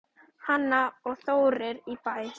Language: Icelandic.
Hanna og Þórir í Bæ.